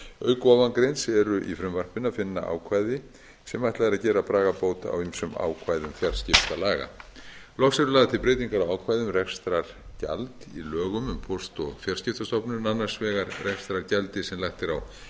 auk ofangreinds eru í frumvarpinu að finna ákvæði sem ætlað er að gera bragarbót á ýmsum ákvæðum fjarskiptalaga loks eru lagðar til breytingar á ákvæði um rekstrargjald í lögum um póst og fjarskiptastofnun annars vegar rekstrargjaldi sem lagt er á